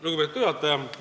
Lugupeetud juhataja!